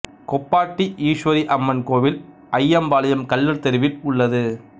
கொப்பாட்டி ஈசுவரி அம்மன் கோவில் அய்யம்பாளையம் கள்ளர் தெருவில் உள்ளது